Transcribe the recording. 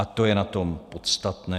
A to je na tom podstatné.